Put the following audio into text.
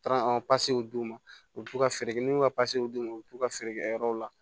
Taara d'u ma u bi to ka feere minnu ka d'u ma u bi t'u ka feere kɛ yɔrɔw la